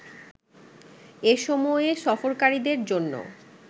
এসময়ে সফরকারীদের জন্য